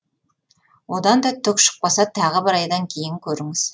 одан да түк шықпаса тағы бір айдан кейін көріңіз